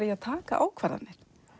í að taka ákvarðanir